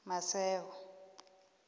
maseko